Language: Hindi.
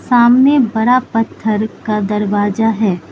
सामने बड़ा पत्थर का दरवाजा है।